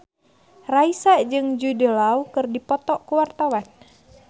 Raisa jeung Jude Law keur dipoto ku wartawan